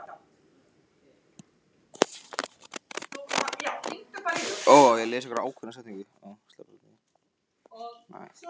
Hann sat í eldhúsinu hjá Erni og nartaði í kartöfluflögur.